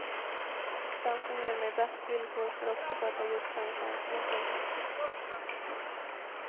Den som ger mig bäst villkor får också sköta just den tjänsten åt mig.